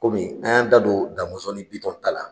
Kɔmi an y' an da don Da Mɔnson ni Bitɔn ta la.